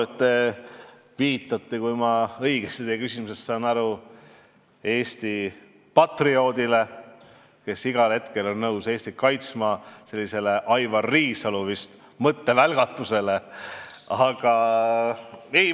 Te vist viitasite, kui ma õigesti teie küsimusest aru sain, Eesti patrioodile, kes igal hetkel on nõus Eestit kaitsma, viitasite Aivar Riisalu mõttevälgatusele.